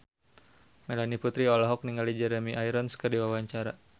Melanie Putri olohok ningali Jeremy Irons keur diwawancara